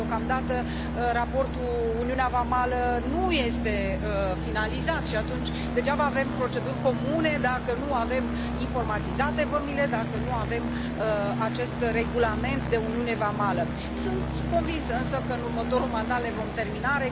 Deocamdată raportul referitor la uniunea vamală nu este finalizat și atunci degeaba avem proceduri comune dacă nu avem informatizate vămile, dacă nu avem acest regulament de uniune vamală. Sunt convinsă, însă, că în următorul mandat le vom termina.